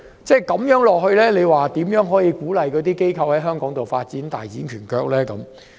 這樣如何能鼓勵這些機構在香港發展，大展拳腳呢？